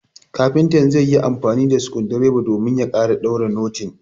kafintan zaiyi amfani da skundireba domin ya kara daure noting